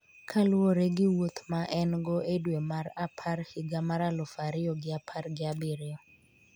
kaluwore gi wuoth ma en go e dwe mar apar higa mar aluf ariyo gi apar gi abiriyo